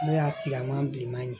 N'o y'a tileman bilenman ye